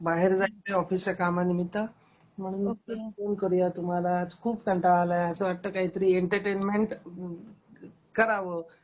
बाहेर जायचय ऑफिसच्या कामानिमित्त, म्हटलं फोन करुया तुम्हाला आज खूप कंटाळा आलाय अस वाटत काही तरी एंटरटेनमेंट कराव...